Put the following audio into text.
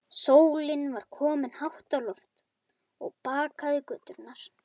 Sólin var komin hátt á loft og bakaði göturnar.